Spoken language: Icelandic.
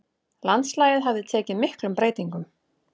Landslagið hafði tekið miklum breytingum.